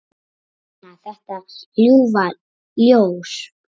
Stína, þetta ljúfa ljós.